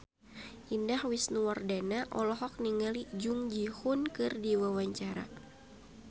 Indah Wisnuwardana olohok ningali Jung Ji Hoon keur diwawancara